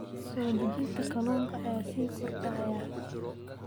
Soo dejinta kalluunka ayaa sii kordhaya.